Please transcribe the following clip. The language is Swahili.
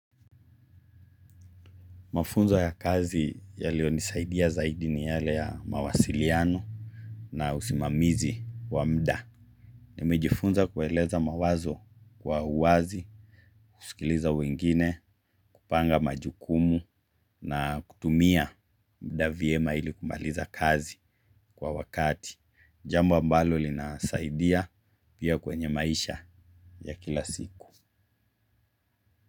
Mafunzo ya kazi yaliyo nisaidia zaidi ni yale ya mawasiliano na usimamizi wa muda. Nimejifunza kueleza mawazo kwa uwazi, kusikiliza wengine, kupanga majukumu na kutumia muda vyema ili kumaliza kazi kwa wakati. Jambo ambalo linasaidia pia kwenye maisha ya kila siku.